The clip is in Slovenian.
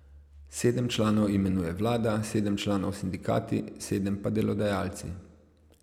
Sedem članov imenuje vlada, sedem članov sindikati, sedem pa delodajalci.